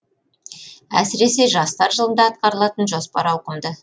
әсіресе жастар жылында атқарылатын жоспар ауқымды